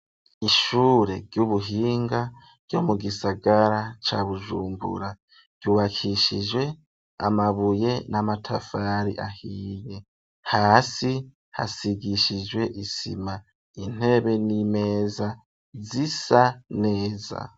Ishure ry'ubuhinga ryo mu gisagara ca Bujumbura, ryubakishijwe amabuye n'amatafari ahiye, hasi hasigishijwe isima, intebe n'imeza zisa neza.